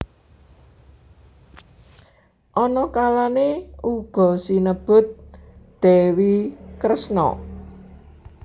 Ana kalane uga sinebut Dewi Kresna